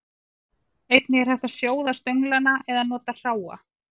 Einnig er hægt að sjóða stönglana eða nota hráa.